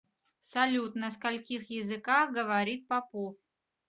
салют на скольких языках говорит попов